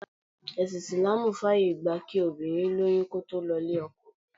Ẹsin Isilaamu fàyè gba kí obìnrin lóyún kó tó lọ ilé-ọkọ.